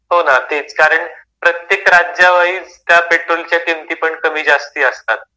हो ना तेच कारण प्रत्येक राज्यावाईज त्या पेट्रोलच्या किमती पण कमी जास्ती असतात.